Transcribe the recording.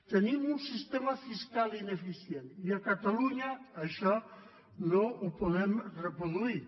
tenim un sistema fiscal ineficient i a catalunya això no ho podem reproduir